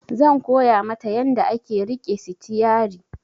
Zan koya mata yanda ake riƙe sitiyari